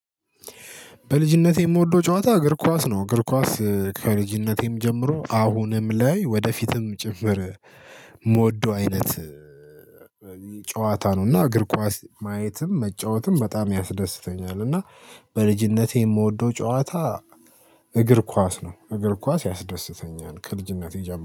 በልጅነቴ የምወደው ጨዋታ እግር ኳስ ነው እግር ኳስ ከልጅነቴም ጀምሮ አሁንም ላይ ወደፊትም ጭምር የምወደው አይነት ጨዋታ ነው እና እግር ኳስ ማየትም መጫወትም በጣም ያስደስተኛል። እና በልጅነቴ የምወደው ጨዋታ እግር ኳስ ነው እግር ኳስ ያስደስተኛል ከልጅነቴ ጀምሮ